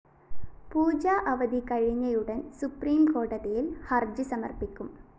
പൂജാ അവധി കഴിഞ്ഞയുടന്‍ സുപ്രീംകോടതിയില്‍ ഹര്‍ജി സമര്‍പ്പിക്കും